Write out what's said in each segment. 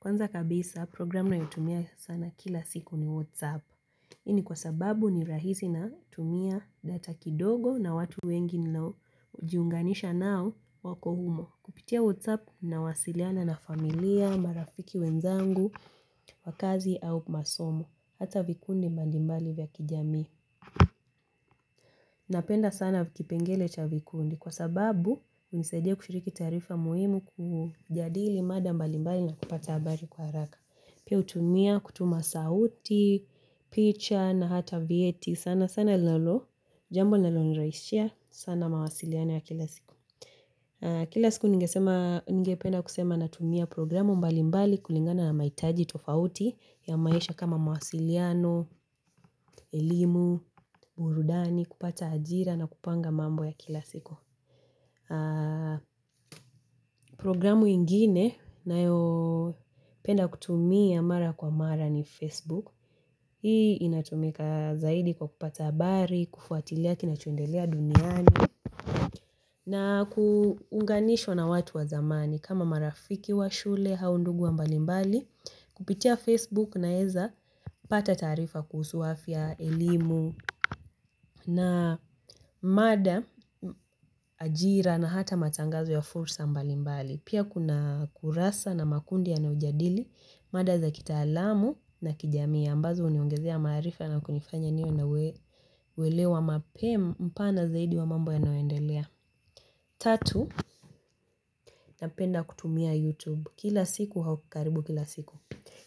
Kwanza kabisa programu ninayotumia sana kila siku ni Whatsapp. Hii ni kwa sababu ni rahisi natumia data kidogo na watu wengi ninaojiunganisha nao wako humo. Kupitia Whatsapp nawasiliana na familia, marafiki wenzangu wa kazi au masomo. Hata vikundi mbalimbali vya kijamii. Napenda sana kipengele cha vikundi. Kwa sababu hunisaidia kushiriki taarifa muhimu, kujadili mada mbalimbali na kupata habari kwa haraka. Pia hutumia kutuma sauti, picha na hata vyeti, sana sana linalo. Jambo linalonirahishia. Sana mawasiliano ya kila siku. Kila siku ningependa kusema natumia programu mbalimbali kulingana na mahitaji tofauti ya maisha kama mawasiliano, elimu, burudani, kupata ajira na kupanga mambo ya kila siku. Programu ingine ninayopenda kutumia mara kwa mara ni Facebook. Hii inatumika zaidi kwa kupata habari, kufuatilia kinachoendelea duniani na kuunganishwa na watu wa zamani kama marafiki wa shule au ndugu wa mbalimbali. Kupitia Facebook naweza pata taarifa kuhusu afya, elimu na mada, ajira na hata matangazo ya fursa mbalimbali. Pia kuna kurasa na makundi yanayojadili mada za kitaalamu na kijamii ambazo huniongezea maarifa na kunifanya niwe na uelewa mapema, mpana zaidi wa mambo yanayoendelea. Tatu, napenda kutumia YouTube. Kila siku au karibu kila siku.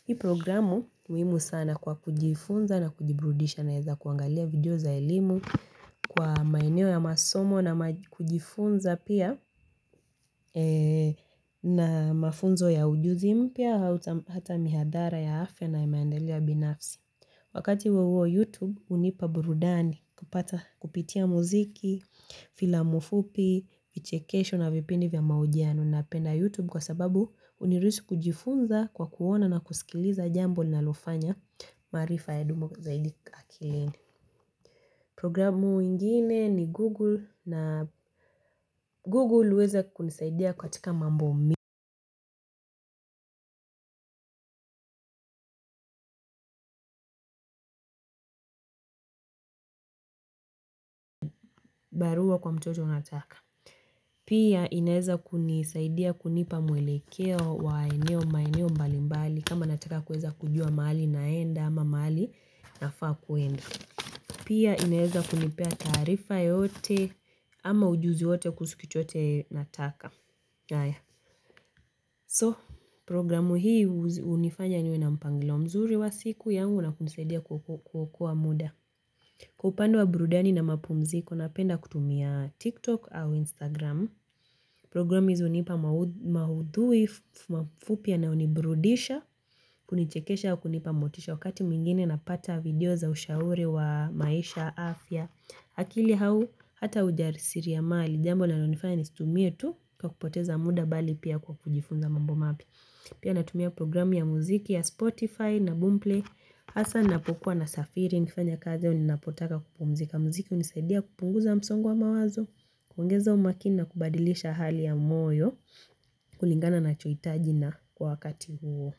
Hii programu muhimu sana kwa kujifunza na kujiburudisha naweza kuangalia video za elimu kwa maineo ya masomo na kujifunza pia na mafunzo ya ujuzi mpya hata mihadhara ya afya na maendeleo binafsi. Wakati huo huo, YouTube hunipa burudani kupata kupitia muziki, filamu fupi, vichekesho na vipindi vya mahojiano. Napenda YouTube kwa sababu huniruhusu kujifunza kwa kuona na kusikiliza jambo linalofanya maarifa yadumu zaidi akilini. Programu ingine ni Google na Google huweza kunisaidia katika mambo mi barua kwa mtoto nataka. Pia inaweza kunisaidia kunipa mwelekeo wa eneo maeneo mbalimbali. Kama nataka kuweza kujua mahali naenda ama mahali nafaa kuenda. Pia inaweza kunipea taarifa yote ama ujuzi wote kuhusu kitu yoyote nataka. So programu hii hunifanya niwe na mpangilio mzuri wa siku yangu na kunisaidia kwa kuokoa muda. Kwa upande wa burudani na mapumziko, napenda kutumia TikTok au Instagram. Program hizi hunipa maudhui mafupi yanayonibrudisha, kunichekesha au kunipa motisha. Wakati mwingine napata video za ushauri wa maisha, afya, akili au hata ujasiriamali. Jambo linalonifanya nisitumie tu kwa kupoteza muda bali pia kwa kujifunza mambo mapya. Pia natumia programu ya muziki ya Spotify na Boomplay hasaa ninapokuwa nasafiri nikifanya kazi au ninapotaka kupumzika, muziki hunisaidia kupunguza msongo wa mawazo, kuongeza umakini na kubadilisha hali ya moyo kulingana ninachohitaji na kwa wakati huo.